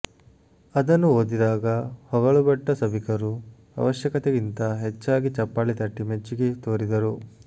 ಅದನ್ನು ಓದಿದಾಗ ಹೊಗಳುಭಟ್ಟ ಸಭಿಕರು ಅವಶ್ಯಕತೆಗಿಂತ ಹೆಚ್ಚಾಗಿ ಚಪ್ಪಾಳೆ ತಟ್ಟಿ ಮೆಚ್ಚುಗೆ ತೋರಿದರು